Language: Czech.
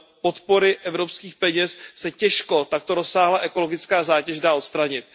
podpory evropských peněz se těžko takto rozsáhlá ekologická zátěž dá odstranit.